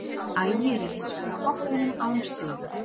Ægir er hins vegar á botninum án stiga.